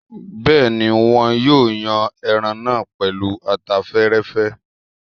Bẹ́ẹ̀ni, wọn yóò yan ẹran náà pẹ̀lú ata fẹ́rẹ́fẹ́